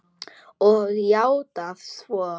Og játað svo.